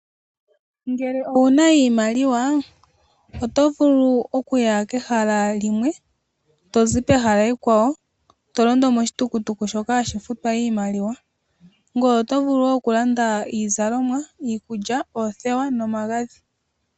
Ngele owuna iimaliwa oto vulu okuya kehala limwe tozi pehala ekwawo to londo moshitukutuku shoka hashi futwa iimaliwa. Ngoye oto vulu wo oku landa iizalomwa, iikulya, oothewa no magadhi